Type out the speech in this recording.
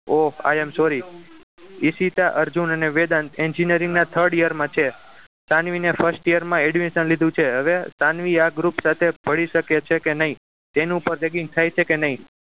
Ohh i am sorry Ishita Arjun અને Vedant engineering ના third year માં છે સાનવીને first year માં admission લીધું છે હવે સાનવી આ group સાથે ભળી શકે છે કે નહીં તેનું પણ ragging થાય છે કે નહીં